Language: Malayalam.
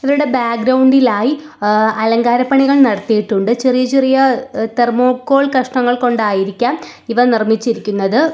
ഇവരുടെ ബാക്ഗ്രൗണ്ട് ഇൽ ആയി എ അലങ്കാരപ്പണികൾ നടത്തിയിട്ടുണ്ട് ചെറിയ ചെറിയ തെർമോകോൾ കഷ്ണങ്ങൾ കൊണ്ടായിരിക്കാം ഇവ നിർമ്മിച്ചിരിക്കുന്നത്.